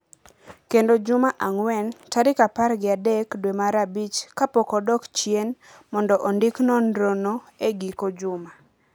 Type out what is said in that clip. kendo juma ang’wen, tarik apar gi adek dwe mar abich kapok odok chien mondo ondik nonrono e giko juma.